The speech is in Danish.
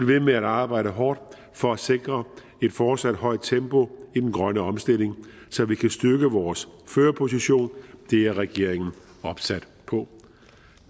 ved med arbejde hårdt for at sikre et fortsat højt tempo i den grønne omstilling så vi kan styrke vores førerposition det er regeringen opsat på